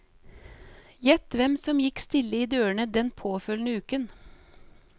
Gjett hvem som gikk stille i dørene den påfølgende uken.